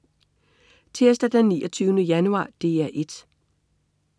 Tirsdag den 29. januar - DR 1: